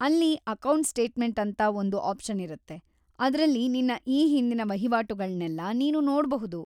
ಅಲ್ಲಿ account statement ಅಂತ ಒಂದು ಆಪ್ಷನ್‌ ಇರತ್ತೆ, ಅದ್ರಲ್ಲಿ ನಿನ್ನ ಈ ಹಿಂದಿನ ವಹಿವಾಟುಗಳ್ನೆಲ್ಲ ನೀನು ನೋಡ್ಬಹುದು.